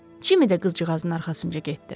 Cimmy də qızcığazın arxasınca getdi.